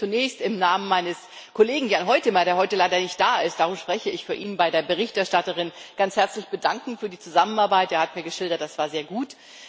Ich möchte mich zunächst im Namen meines Kollegen Jan Huitema, der heute leider nicht da ist darum spreche ich für ihn bei der Berichterstatterin ganz herzlich für die Zusammenarbeit bedanken. Er hat mir geschildert, das war sehr gut.